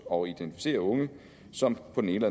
og identificere unge som på den ene